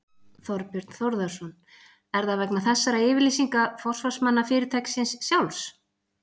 Þorbjörn Þórðarson: Er það vegna þessara yfirlýsinga forsvarsmanna fyrirtækisins sjálfs?